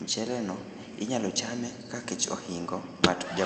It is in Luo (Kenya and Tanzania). mchele no inyalo chame ka kech ohingo ngát